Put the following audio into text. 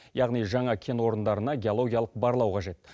яғни жаңа кен орындарына геологиялық барлау қажет